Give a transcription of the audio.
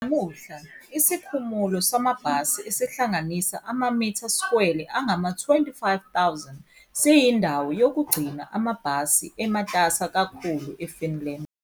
Namuhla, isikhumulo samabhasi, esihlanganisa amamitha-skwele angama-25,000, siyindawo yokugcina amabhasi ematasa kakhulu eFinland.